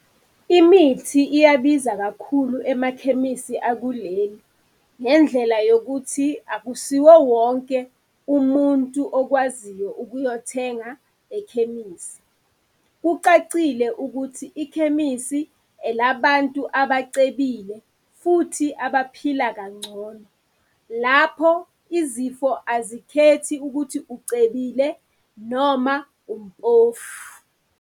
Imithi iyabiza kakhulu emakhemisi akuleli, ngendlela yokuthi akusiwo wonke umuntu okwaziyo ukuyothenga ekhemisi. Kucacile ukuthi ikhemisi elabantu abacebile, futhi abaphila kangcono. Lapho izifo azikhethi ukuthi ucebile noma umpofu.